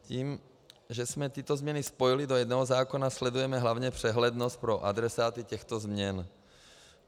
Tím, že jsme tyto změny spojili do jednoho zákona, sledujeme hlavně přehlednost pro adresáty těchto změn.